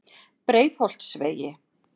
Breiðholtsvegi